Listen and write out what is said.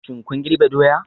Shin kun girbe doya?